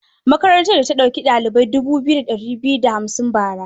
Makarantar da ɗauki ɗalibai dubu biyu da ɗari da hamsin bara.